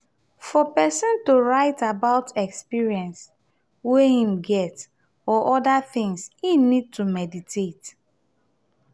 for person to write about experience wey im get or oda things im need to meditate